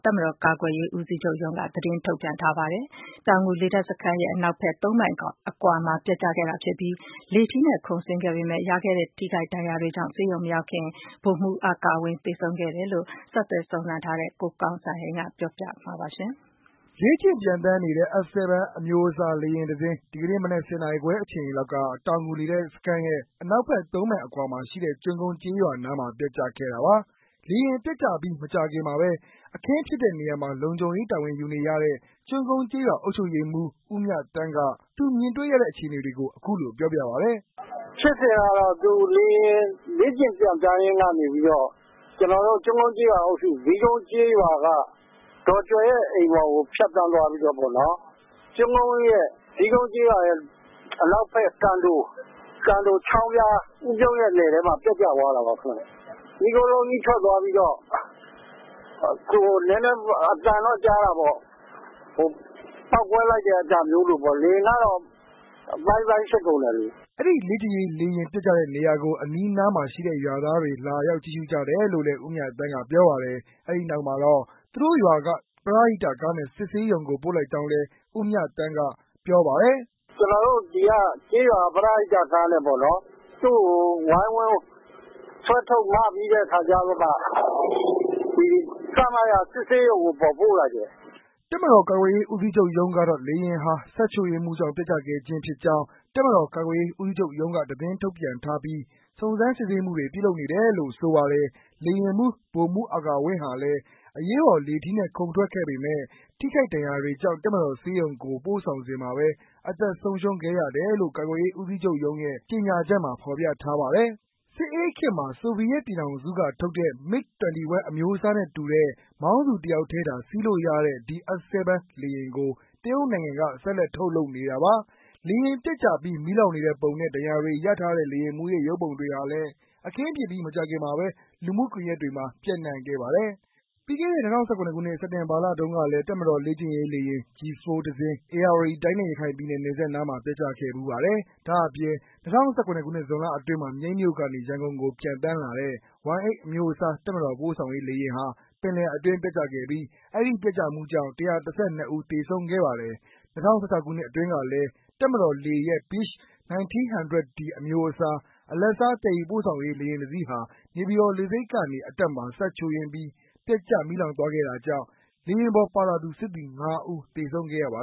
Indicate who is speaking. Speaker 1: တပ်မတောာ် ကာကွယ်ရေး ဦးစီးချုပ်ရုံးက သတင်း ထုန်ပြန်ထားပါတယ်။ အပြည့်အစုံကိုတော့ ကိုကောင်းစံဟိန်းက ပြောပြ ပေးမှာ ဖြစ်ပါတယ်။ လေ့ကျင
Speaker 2: ့် ပျံသန်းနေတဲ့ F-7 အမျိုးအစား လေယာဉ်တစင်း ဒီကနေ့မနက် ၁၀ နာရီခွဲ အချိန်လောက်က တောင်ငူ လေတပ်စခန်းရဲ့ အနောက်ဘက် မိုင်အကွာမှာရှိတဲ့ ကျွန်းကုန်း ကျေးရွာနားမှာ ပျက်ကျခဲ့တာပါ။ လေယာဉ်ပျက်ကျပြီး မကြာခင်မှာဘဲ အခင်းဖြစ်တဲ့နေရာမှာ လုံခြုံရေး တာဝန်ယူနေရတဲ့ ကျွန်းကုန်း ကျေးရွှာ အုပ်ချုပ်ရေးမှူး ဦးမြသန်းက သူမြင်တွေ့ရတဲ့ အခြေအနေတွေကို အခုလို ပြောပြပါတယ်။ " ဖြစ်စဉ်ကတော့ လေယာဉ်
Speaker 1: လေ့ကျင့် ပျံသန်းရင်းကနေပီးတော့ ကျနေ်ာတို့ ကျွန်းကုန်းကျေးရွာအုပ်စု ဇီးကုန်းကျေးရွာက ဒေါ်ကြွယ်ရဲ့အိမ်ပေါ်ကို ဖြတ်သန်းသွားပီးတော့ ဇီးကုန်ကျေးရွာရဲ့ အနောက်ဖက် ဦးပြုံးရဲ့ လယ်ထဲမှာ ပျက်ကျသွားခဲ့တာပါ။ မီးခိုးလုံးကြီး ထွက်လာပီးတော့ ပေါက်ကွဲသွားတဲ့ အသံတော့ကြားတာပေါ့ ၊လေယာဉ်ကတော့ အပိုင်း ပိုင်း ဖြစ်သွားတယ်။
Speaker 2: " အဲဒီ လေ့ကျင့်ရေး လေယာဉ် ပျက်ကျတဲ့နေရာကို အနီးနားမှာရှိတဲ့ ရွာသွားတွေလာရောက် ကြည့်ရှုကြတယ်လို့ ဦးမြသန်းက ပြောပါတယ်။ အဲဒီနောက်မှာတော့ သူတို့ရွာက ပရဟိတကားနဲ့ စစ်ဆေးရုံကို ပို့လိုက်ကြောင်းလည်း အုပ်ချုပ်ရေးမှူး ဦးမြသန်းက ပြောပါတယ်
Speaker 1: ။ "ကျနော်တို့ ဒီကကျေးရွာက ပရဟိတကားနဲ့ပေါ့နော် သူ့ကို ဝိုင်းဝန်းဆွဲထုတ် မ ပီး စစ်ဆေးရုံကို ပို့လိုက်တယ် "
Speaker 2: တပ်မတော် ကာကွယ်ရေးဦးစီးချူပ် ရုံးကတော့ လေယာဉ်ဟာ စက်ချို့ယွင်းမှုကြောင့် ပျက်ကျခဲ့ခြင်း ဖြစ်ကြောင်း တပ်မတော် ကာကွယ်ရေးဦးစီးချုပ်ရုံးက သတင်းထုတ်ပြန်ထားပြီး စုံစမ်း စစ်ဆေးမှုတွေ ပြုလုပ်နေတယ်လို့ ဆိုပါတယ်။ လေယာဉ်မှူး ဗိုလ်မှူး အာကာဝင်းဟာလည်း အရေးပေါ် လေထီးနဲ့ ခုန်ထွက်ခဲ့ပေမဲ့ ထိခိုက် ဒဏ်ရာတွေကြောင့် တပ်မတော်ဆေးရုံကို ပို့ဆောင်စဉ်မှာဘဲ အသက် ဆုံးရှုံးခဲ့ရတယ်လို့ ကာကွယ်ရေး ဦးစီးချုပ်ရုံးရုံးရဲ့ ကြေငြာချက်မှာ ဖော်ပြထားပါတယ်။ စစ်အေးခေတ်မှာ ဆိုဗီယက်ပြည်ထောင်စုက ထုတ်တဲ့ MiG-21 အမျိုးအစားနဲ့တူတဲ့ မောင်းသူ တယောက်ထဲသာ စီးလို့ရတဲ့ ဒီ F-7 လေယာဉ်ကို တရုတ်နိုင်ငံက ဆက်လက် ထုတ်လုပ်နေတာပါ။ လေယာဉ်ပျက်ကျပြီး မီးလောင်နေတဲ့ပုံနဲ့ ဒဏ်ရာတွေ ရထားတဲ့ လေယာဉ်မှူးရဲ့ ရုပ်ပုံတွေဟာလည်း အခင်းဖြစ်ပြီး မကြာခင်မှာဘဲ လူမှုကွန်ယက်တွေမှာ ပြန့်နှံ့ခဲ့ပါတယ်။ ပြီးခဲ့တဲ့ ၂၀၁၇ ခုနစ် စက်တင်ဘာလ တုန်းကလည်း တပ်မတော် လေ့ကျင့်ရေး လေယာဉ် G-4 တစင်း ဧရာဝတီတိုင်းနဲ့ ရခိုင်ပြည်နယ် နယ်စပ်နားမှာ ပျက်ကျခဲ့ဖူးပါတယ်။ ဒါ့အပြင် ၂၀၁၇ ဇွန်လအတွင်းမှာ မြိတ်မြို့ကနေ ရန်ကုန်ကို ပျံသန်းလာတဲ့ Y-8 အမျိုးအစား တပ်မတော် ပို့ဆောင်ရေး လေယာဉ်ဟာ ပင်လယ်အတွင်း ပျက်ကျခဲ့ပြီး အဲဒီ ပျက်ကျမှုကြောင့် ၁၁၂ ဦး သေဆုံးခဲ့ပါတယ်။ ၂၀၁၆ ခုနစ်အတွင်းကလည်း တပ်မတော်လေရဲ့ Beech 1900 D အမျိုးအစား အလတ်စား သယ်ယူ ပို့ဆောင်ရေး လေယာဉ်တစီးဟာ နေပြည်တော် လေဆိပ်ကနေ အတက်မှာ စက်ချို့ယွင်းပြီး ပျက်ကျ မီးလောင်သွားခဲ့တာကြောင့် လေယာဉ်ပေါ် ပါလာသူ စစ်သည် ၅ ဦး သေဆုံးခဲ့ရပါ